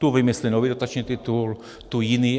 Tu vymyslí nový dotační titul, tu jiný.